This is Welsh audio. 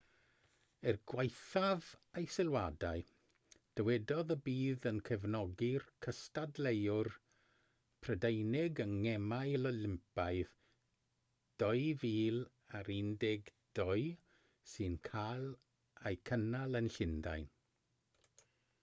er gwaethaf ei sylwadau dywedodd y bydd yn cefnogi'r cystadleuwyr prydeinig yng ngemau olympaidd 2012 sy'n cael eu cynnal yn llundain